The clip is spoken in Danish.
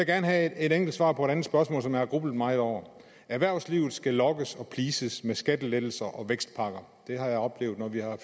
gerne have et enkelt svar på et andet spørgsmål som jeg har grublet meget over erhvervslivet skal lokkes og pleases med skattelettelser og vækstpakker det har jeg oplevet når vi